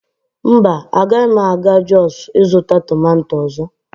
mba, agaghị m aga jos ịzụta tomato ọzọ